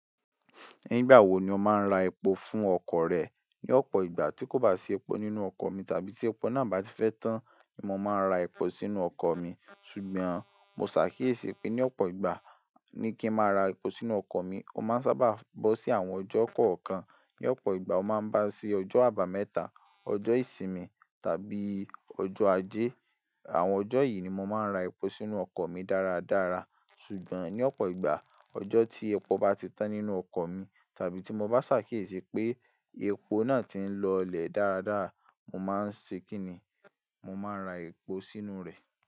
Nígbà wo ni o máa ń ra epo fún ọkọ̀ rẹ? Ní ọ̀pọ̀ ìgbà tí kò bá sí epo nínú ọkọ̀ mi tàbí tí epo náà bá ti fẹ́ tán ni mo máa ń ra epo sínú ọkọ̀ mi. Ṣùgbọ́n mo ṣàkíyèsí pé ní ọ̀pọ̀ ìgbà ní kí n máa ra epo sínú ọkọ̀ mi. O máa ń sábà bọ́ sí àwọn ọjọ́ kọ̀ọ̀kan. Ní ọ̀pọ̀ ìgbà, o máa ń bá sí ọjọ́ àbámẹ́ta, ọjọ́ ìsinmi tàbí ọjọ́ ajé. Àwọn ọjọ́ yìí ni mo máa ń ra epo sínú ọkọ̀ mi dáradára. Ṣùgbọ́n ní ọ̀pọ̀ ìgbà, ọjọ́ tí epo bá ti tán nínú ọkọ̀ mi tàbí tí mo bá ṣàkíyèsí pé epo náà ti ń lọolẹ̀ dáradára, mo máa ń ṣe kínni, mo máa ń ra epo sínú rẹ̀.